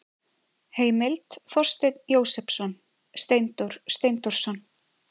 Heimild: Þorsteinn Jósepsson, Steindór Steindórsson.